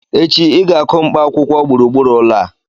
Echi, i ga-akụ mkpaakwụkwọ gburugburu ụlọ a